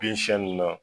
Bin siɲɛnni na